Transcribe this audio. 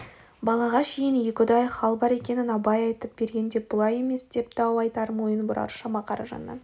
балаға шейін екіұдай хал бар екенін абай айтып бергенде бұлай емес деп дау айтар мойын бұрар шама қаражаннан